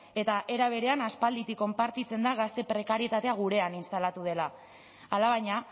eta era berean aspalditik konpartitzen da gazte prekarietatea gurean instalatu dela alabaina